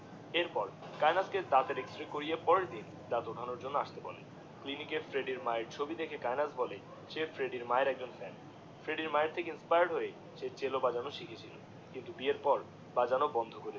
এর পর কায়েনাথ কে দাঁতের XRAY করিয়ে পরের দিন দাঁত ওঠানোর জন্যে আসতে বলে ক্লিনিক এ ফ্রেড্ডির মা এর ছবি দেখে কায়েনাথ বলে সে ফ্রেড্ডির মা এর একজন ফ্যান, ফ্রেড্ডির মা এর থেকে ইন্সপায়ার্ড হয়ে সে Chelo বাজানো শিখেছে কিন্তু বিয়ের পর বাজানো বন্ধ করে দিয়েছে